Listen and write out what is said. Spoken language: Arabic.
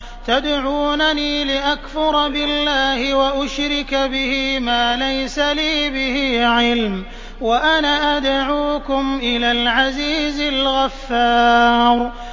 تَدْعُونَنِي لِأَكْفُرَ بِاللَّهِ وَأُشْرِكَ بِهِ مَا لَيْسَ لِي بِهِ عِلْمٌ وَأَنَا أَدْعُوكُمْ إِلَى الْعَزِيزِ الْغَفَّارِ